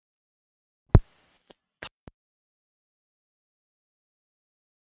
Þorbjörn: Fá þessir sjúklingar þetta lyf?